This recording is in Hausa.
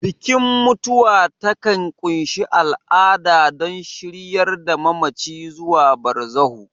Bikin mutuwa takan ƙunshi al'ada don shiryar da mamaci zuwa barzahu.